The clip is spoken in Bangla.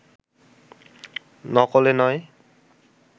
নকল-এ নয়